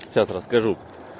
в чат расскажу